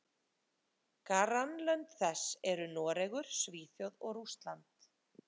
Grannlönd þess eru Noregur, Svíþjóð og Rússland.